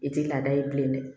I tɛ laada ye bilen dɛ